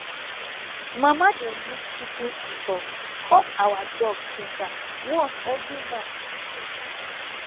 mama dey use kitchen scissors cut our dog finger once every month